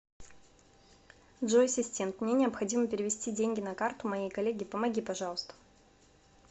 джой ассистент мне необходимо перевести деньги на карту моей коллеге помоги пожалуйста